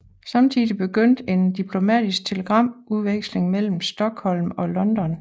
Samtidig begyndte en diplomatisk telegramudveksling mellem Stockholm og London